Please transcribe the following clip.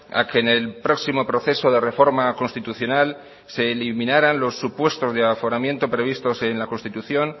a que en el próximo proceso de reforma constitucional se eliminaran los supuestos de aforamiento previstos en la constitución